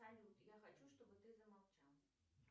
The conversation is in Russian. салют я хочу чтобы ты замолчал